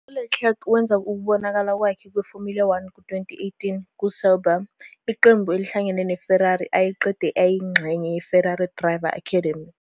ULeclerc wenza ukubonakala kwakhe kweFormula One ku-2018 kuSauber, iqembu elihlangene neFerrari, ayekade eyingxenye yeFerrari Driver Academy.